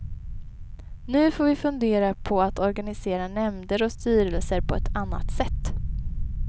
Nu får vi fundera på att organisera nämnder och styrelser på ett annat sätt.